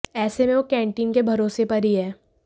ऐसे में वो कैंटीन के भरोसे पर ही हैं